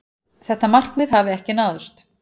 Þetta markmið hafi ekki náðst.